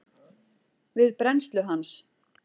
við brennslu hans.